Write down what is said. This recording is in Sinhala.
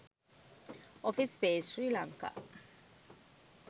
office space sri lanka